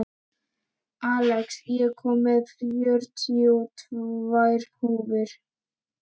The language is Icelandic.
Axel, ég kom með fjörutíu og tvær húfur!